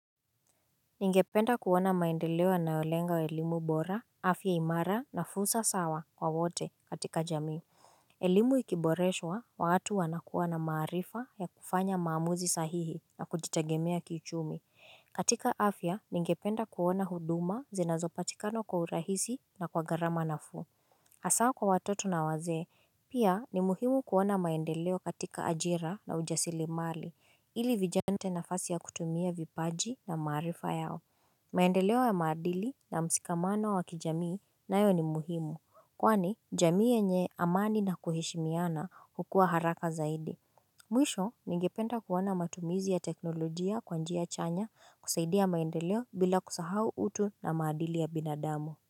Ningependa kuona maendeleo yanayolenga elimu bora, afya imara na fursa sawa kwa wote katika jamii. Elimu ikiboreshwa, watu wanakuwa na maarifa ya kufanya maamuzi sahihi na kujitegemea kiuchumi. Katika afya, ningependa kuona huduma zinazopatikana kwa urahisi na kwa gharama nafuu. Hasa kwa watoto na wazee, pia ni muhimu kuona maendeleo katika ajira na ujasiria mali, ili vijana nafasi ya kutumia vipaji na maarifa yao. Maendeleo ya maadili na mshikamano wa kijamii nayo ni muhimu kwani jamii yenye amani na kuheshimiana hukua haraka zaidi Mwisho ningependa kuona matumizi ya teknolojia kwa njia chanya, kusaidia maendeleo bila kusahau utu na maadili ya binadamu.